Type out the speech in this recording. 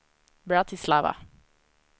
Bratislava